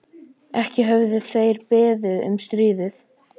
Ekki höfðu þeir beðið um stríðið.